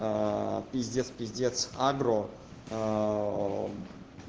пиздец пиздец агро